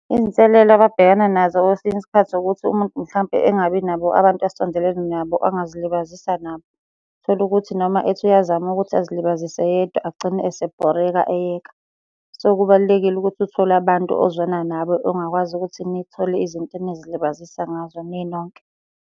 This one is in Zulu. Iy'nselelo ababhekana nazo kwesinye isikhathi ukuthi umuntu mhlampe engabi nabo abantu asondelene nabo angazilibazisa nabo. Uthole ukuthi noma ethi uyazama ukuthi azilibazise yedwa agcine esebhoreka eyeka. So, kubalulekile ukuthi uthole abantu ozwana nabo ongakwazi ukuthi nithole izinto enizilibazisa ngazo ninonke.